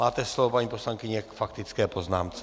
Máte slovo, paní poslankyně, k faktické poznámce.